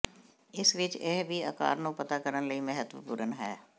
ਇਸ ਵਿਚ ਇਹ ਵੀ ਆਕਾਰ ਨੂੰ ਪਤਾ ਕਰਨ ਲਈ ਮਹੱਤਵਪੂਰਨ ਹੈ